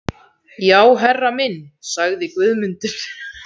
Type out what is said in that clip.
Já herra minn, sagði Guðmundur.